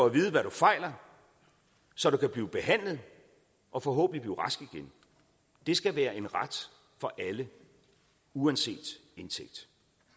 at vide hvad du fejler så du kan blive behandlet og forhåbentlig blive rask igen det skal være en ret for alle uanset indtægt